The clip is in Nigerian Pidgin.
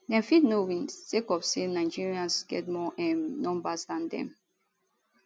dem fit no win sake of say nigerians get more um numbers dan dem